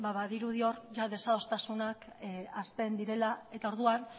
badirudi hor desadostasunak hasten direla eta orduan